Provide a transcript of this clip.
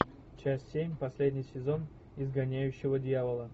часть семь последний сезон изгоняющего дьявола